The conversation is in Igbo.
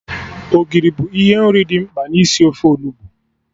Ogiri bụ ihe nri dị mkpa n'isi ofe Onugbu